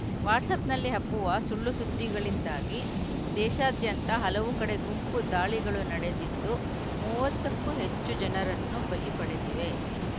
ವಾಟ್ಸಪ್‌ನಲ್ಲಿ ಹಬ್ಬುವ ಸುಳ್ಳುಸುದ್ದಿಗಳಿಂದಾಗಿ ದೇಶಾದ್ಯಂತ ಹಲವು ಕಡೆ ಗುಂಪು ದಾಳಿಗಳು ನಡೆದಿದ್ದು ಮೂವತ್ತಕ್ಕೂ ಹೆಚ್ಚು ಜನರನ್ನು ಬಲಿಪಡೆದಿವೆ